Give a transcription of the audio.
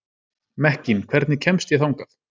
Mekkín, hvernig kemst ég þangað?